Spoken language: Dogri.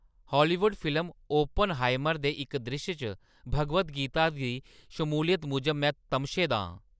हालीवुड फिल्म 'अप्पनहाइमर' दे इक द्रिश्श च भगवद गीता दी शमूलियत मूजब में तमशे दा आं।